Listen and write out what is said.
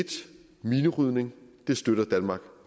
minerydning det støtter danmark